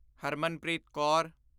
Harmanpreet Kaur